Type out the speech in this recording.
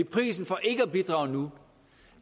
prisen for ikke at bidrage nu